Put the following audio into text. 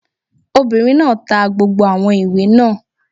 Obìnrin náà ta gbogbo àwọn ìwé náà